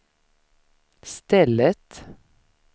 stället